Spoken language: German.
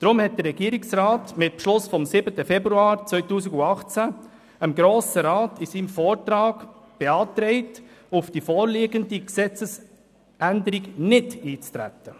Deshalb hat der Regierungsrat mit Beschluss vom 7. Februar 2018 dem Grossen Rat in seinem Vortrag beantragt, auf die vorliegende Gesetzesänderung nicht einzutreten.